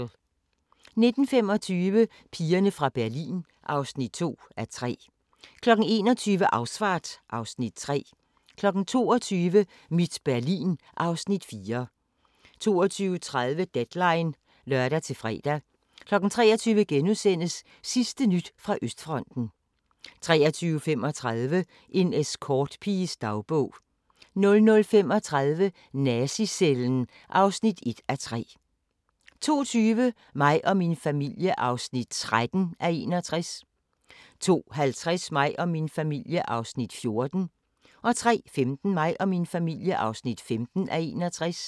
19:25: Pigerne fra Berlin (2:3) 21:00: Ausfahrt (Afs. 3) 22:00: Mit Berlin (Afs. 4) 22:30: Deadline (lør-fre) 23:00: Sidste nyt fra Østfronten * 23:35: En escortpiges dagbog 00:35: Nazi-cellen (1:3) 02:20: Mig og min familie (13:61) 02:50: Mig og min familie (14:61) 03:15: Mig og min familie (15:61)